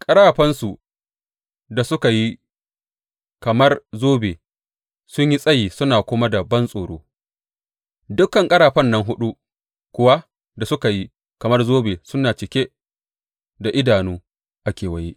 Ƙarafansu da suka yi kamar zobe sun yi tsayi suna kuma da bantsoro, dukan ƙarafan nan huɗu kuwa da suka yi kamar zobe suna cike da idanu a kewaye.